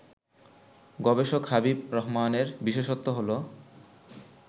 গবেষক হাবিব রহমানের বিশেষত্ব হলো